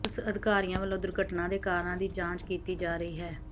police ਅਧਿਕਾਰੀਆਂ ਵਲੋਂ ਦੁਰਘਟਨਾ ਦੇ ਕਾਰਨਾਂ ਦੀ ਜਾਂਚ ਕੀਤੀ ਜਾ ਰਹੀ ਹੈ